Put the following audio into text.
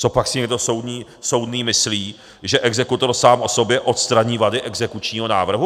Copak si někdo soudný myslí, že exekutor sám o sobě odstraní vady exekučního návrhu?